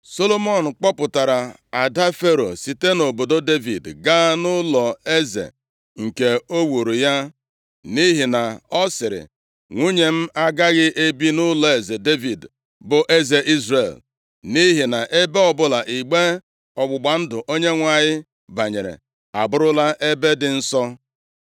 Solomọn kpọpụtara ada Fero site nʼobodo Devid, gaa nʼụlọeze nke o wuuru ya, nʼihi na ọ sịrị, “Nwunye m agaghị ebi nʼụlọeze Devid, bụ eze Izrel, nʼihi na ebe ọbụla igbe ọgbụgba ndụ Onyenwe anyị banyere abụrụla ebe dị nsọ.”